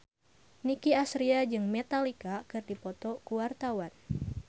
Nicky Astria jeung Metallica keur dipoto ku wartawan